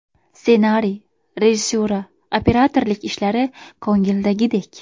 Ssenariy, rejissura, operatorlik ishlari ko‘ngildagidek.